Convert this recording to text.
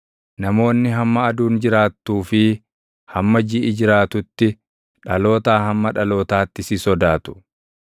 Namoonni hamma aduun jiraattuu fi hamma jiʼi jiraatutti, dhalootaa hamma dhalootaatti si sodaatu.